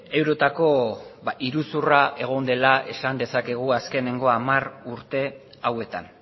eurotako iruzurra egon dela esan dezakegu azkenengo hamar urte hauetan